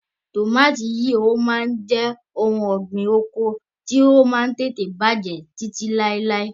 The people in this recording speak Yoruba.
Tọmatì yìí ó máa jẹ òun ọ̀gbín oko ti o Máà ń tètè bàjẹ́ títí lailai